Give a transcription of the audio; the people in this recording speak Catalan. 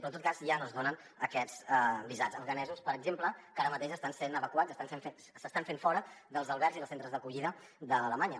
però en tot cas ja no es donen aquests visats a afganesos per exemple que ara mateix estan sent evacuats s’estan fent fora dels albergs i dels centres d’acollida de l’alemanya